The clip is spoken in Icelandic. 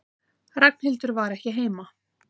Ragnhildur var ekki heima.